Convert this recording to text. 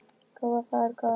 Góða ferð, góða nótt.